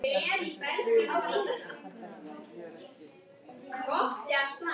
Jarl, slökktu á þessu eftir sextíu og fimm mínútur.